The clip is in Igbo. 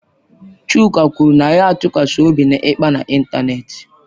Chuka kwuru na ya atụkwasịghị obi na ịkpa n'ịntanetị.